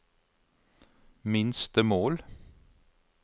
minstemål